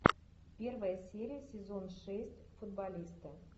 первая серия сезон шесть футболисты